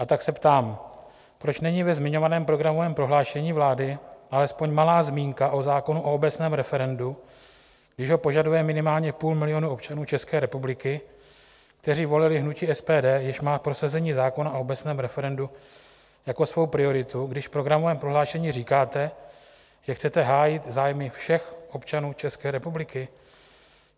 A tak se ptám, proč není ve zmiňovaném programovém prohlášení vlády alespoň malá zmínka o zákonu o obecném referendu, když ho požaduje minimálně půl milionu občanů České republiky, kteří volili hnutí SPD, jež má prosazení zákona o obecném referendu jako svou prioritu, když v programovém prohlášení říkáte, že chcete hájit zájmy všech občanů České republiky.